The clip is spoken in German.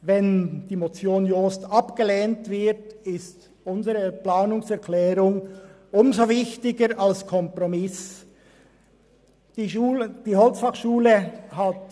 Wenn die Motion Jost abgelehnt wird, ist unsere Planungserklärung als Kompromiss umso wichtiger.